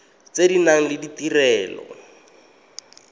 tse di nang le ditirelo